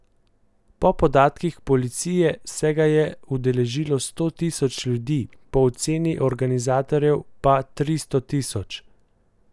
Po podatkih policije se ga je udeležilo sto tisoč ljudi, po oceni organizatorjev pa tristo tisoč.